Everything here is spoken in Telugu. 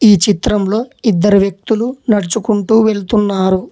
ఈ చిత్రంలో ఇద్దరు వ్యక్తులు నడుచుకుంటూ వెళ్తున్నారు